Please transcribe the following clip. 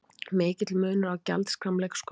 Mikill munur á gjaldskrám leikskóla